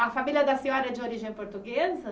A família da senhora é de origem portuguesa?